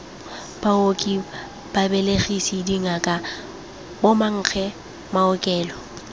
baoki babelegisi dingaka bomankge maokelo